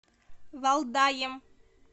валдаем